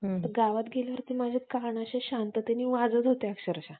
तर गावात गेल्यावर माझे कान असे शांततेने वाजत होते अक्षरशा